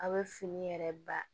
A' bɛ fini yɛrɛ ba